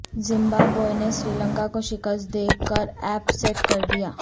Zimbabwe نے سری لنکا کو شکست دے کر اپ سیٹ کردیا